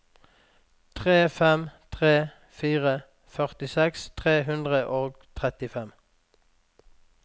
tre fem tre fire førtiseks tre hundre og trettifem